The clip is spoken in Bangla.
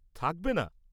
থাকবে না?